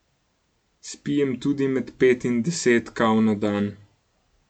Spijem tudi med pet in deset kav na dan.